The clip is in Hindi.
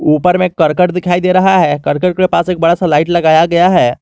ऊपर में करकट दिखाई दे रहा है करकट के पास एक बड़ा सा लाइट लगाया गया है।